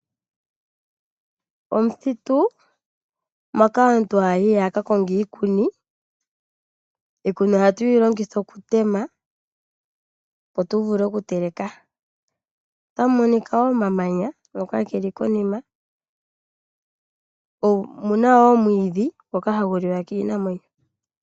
Omuthitu moka aantu haayi yakakonge iikuni. Iikuni ohatwiilongitha okutema opo tu vule okuteleka, momuthitu omuna woo omamanya, nomwiidhi ngoka hagu liwa kiinamwenyo.